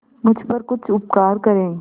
मुझ पर कुछ उपकार करें